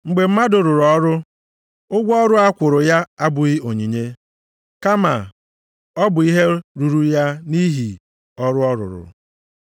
Mgbe mmadụ rụrụ ọrụ, ụgwọ ọrụ a kwụrụ ya abụghị onyinye, kama ọ bụ ihe ruru ya nʼihi ọrụ ọ rụrụ.